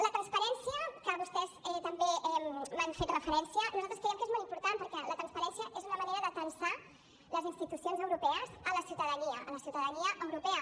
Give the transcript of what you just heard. la transparència a què vostès també han fet referència nosaltres creiem que és molt important perquè la transparència és una manera d’atansar les institucions europees a la ciutadania a la ciutadania europea